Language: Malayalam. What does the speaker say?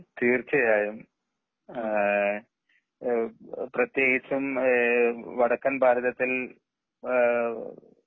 തീർച്ചയായും ആ പ്രത്യകിച്ചും ആഹ് വടക്കൻ ഭാരതത്തിൽ അഹ്